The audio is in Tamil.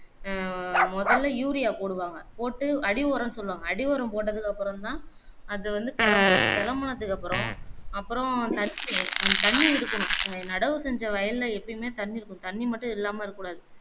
உம் மொதல்ல urea போடுவாங்க போட்டு அடி உரம்னு சொல்லுவாங்க அடி உரம் போட்டதுக்கு அப்பறம் தான் அதுவந்து கெளம்பும் கெளம்புனதுக்கு அப்பறம் அப்பறம் தண்ணீர் அந்த தண்ணீர் இருக்கணும் அநடவு செஞ்ச வயல்ல எப்பயுமே தண்ணீர் இருக்கும் தண்ணீர் மட்டும் இல்லாம இருக்கக்கூடாது